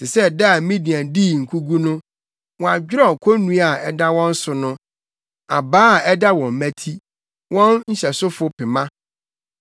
Te sɛ da a Midian dii nkogu no, woadwerɛw konnua a ɛda wɔn so no, abaa a ɛda wɔn mmati, wɔn nhyɛsofo pema.